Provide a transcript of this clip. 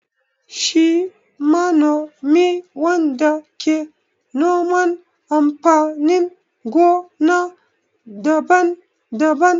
Shi manomi wanda ke noman amfanin gona daban-daban.